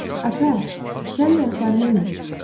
Ata, sənin ayaqlarındır?